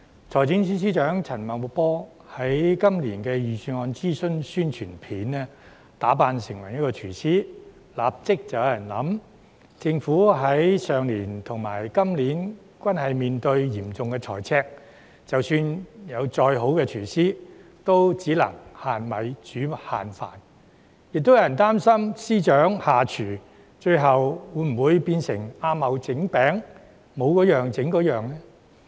財政司司長陳茂波在今年的財政預算案諮詢宣傳片中打扮成廚師，立即有人想到，政府去年和今年均面對嚴重財赤，即使有再好的廚師，也只能"限米煮限飯"；亦有人擔心司長下廚，最終會否變成"阿茂整餅，冇嗰樣整嗰樣"？